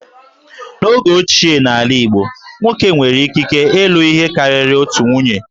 N'oge ochie n'ala Igbo, nwoke nwere ikike ilụ ihe karịrị otu nwunye